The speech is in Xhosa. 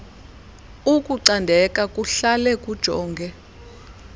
ukucandeka kuhlale kujonge